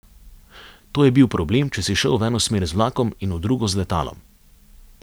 To je bil problem, če si šel v eno smer z vlakom in v drugo z letalom.